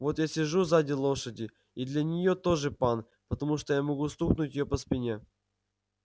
вот я сижу сзади лошади и для нее тоже пан потому что я могу стукнуть её по спине